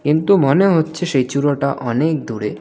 কিন্তু মনে হচ্ছে সেই চূড়োটা অনেক দূরে.